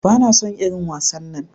Bana son irin wasannan.